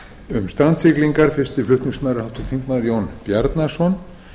um strandsiglingar fyrsti flutningsmaður er háttvirtur þingmaður jón bjarnason